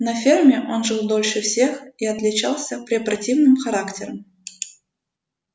на ферме он жил дольше всех и отличался препротивным характером